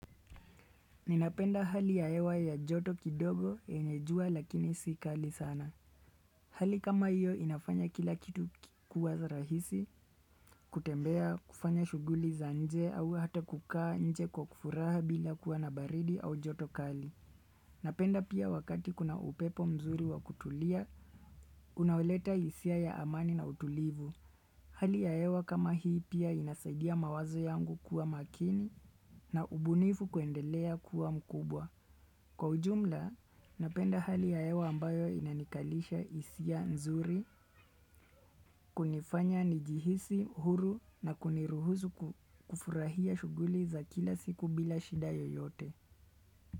Ninapenda hali yaewa ya joto kidogo yenye jua lakini si kali sana. Hali kama hiyo inafanya kila kitu kikua za rahisi, kutembea kufanya shughuli za nje au hata kukaa nje kwa kufuraha bila kuwa na baridi au joto kali. Napenda pia wakati kuna upepo mzuri wa kutulia, unauleta hisia ya amani na utulivu. Hali ya hewa kama hii pia inasaidia mawazo yangu kuwa makini na ubunifu kuendelea kuwa mkubwa. Kwa ujumla, napenda hali ya hewa ambayo inanikalisha hisia nzuri, kunifanya nijihisi, huru na kuniruhusu kufurahia shughuli za kila siku bila shida yoyote.